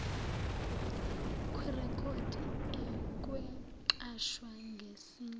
kwirekhodi akwenqatshwa ngesinye